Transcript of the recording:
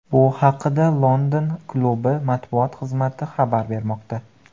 Bu haqida London klubi matbuot xizmati xabar bermoqda .